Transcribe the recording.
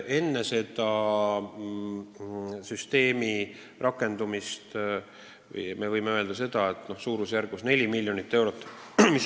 Enne selle süsteemi rakendumist oli samuti õigusabile ette nähtud suurusjärgus 4 miljonit eurot.